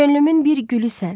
Könlümün bir gülüsən.